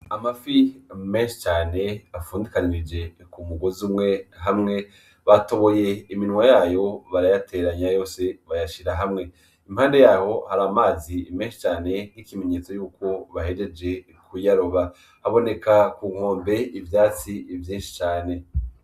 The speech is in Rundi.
Amafi menshi cane afundikanije ku mugozi umwe , hamwe batoboye iminwa yayo irayateranya yose iyashira hamwe, impande yaho hari amazi menshi cane nk'ikimenyetso yuko bahejeje kuyaroba, haboneka ku nkombe ivyatsi vyinshi cane.